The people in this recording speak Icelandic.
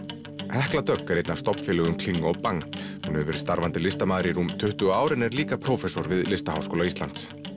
hekla Dögg er einn af stofnfélögum kling og Bang hún hefur verið starfandi listamaður í tuttugu ár en er líka við Listaháskóla Íslands